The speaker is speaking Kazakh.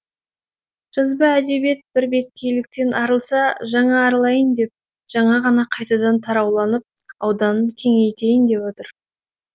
жазба әдебиет бір беткейліктен арылса жаңа арылайын деп жаңа ғана қайтадан тарауланып ауданын кеңейтейін деп отыр